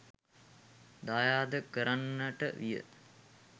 දායාද කරන්නට විය.